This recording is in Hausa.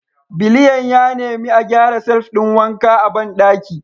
Biliyan ya nemi a gyara shelf ɗin wanka a bandaki